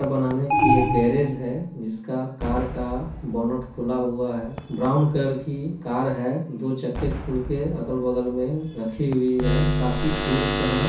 Car बनाने की एक गैरेज हैं जिसका कार का बोनट खुला हुआ है ब्राउन कलर की कार है दो चक्के खुल के अगल बगल में रखी हुई है काफी टूल्स हैं।